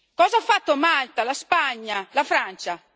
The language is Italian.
Cosa hanno fatto Malta, la Spagna e la Francia?